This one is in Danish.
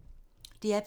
DR P2